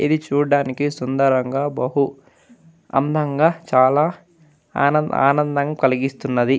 ఇది చూడ్డానికి సుందరంగా బహు అందంగా చాలా ఆనందంగా కలిగిస్తున్నది.